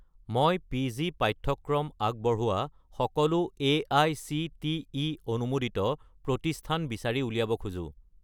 মই পি.জি. পাঠ্যক্ৰম আগবঢ়োৱা সকলো এআইচিটিই অনুমোদিত প্ৰতিষ্ঠান বিচাৰি উলিয়াব খোজো